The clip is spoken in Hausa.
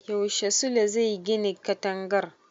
Yaushe Sule zai gine katangar?